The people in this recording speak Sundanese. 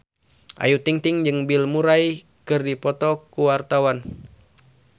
Ayu Ting-ting jeung Bill Murray keur dipoto ku wartawan